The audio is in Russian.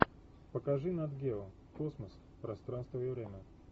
покажи нат гео космос пространство и время